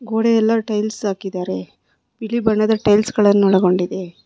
ಗೋಡೆ ಎಲ್ಲ ಟೈಲ್ಸ್ ಹಾಕಿದ್ದಾರೆ ಬಿಳಿ ಬಣ್ಣದ ಟೈಲ್ಸ್ ಒಳಗೊಂಡಿದೆ.